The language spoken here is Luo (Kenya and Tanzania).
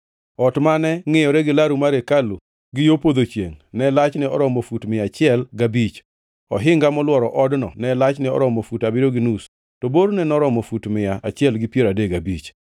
Ot mane ngʼiyore gi laru mar hekalu gi yo podho chiengʼ ne lachne oromo fut mia achiel gabich. Ohinga molworo odno ne lachne oromo fut abiriyo gi nus; to borne noromo fut mia achiel gi piero adek gabich.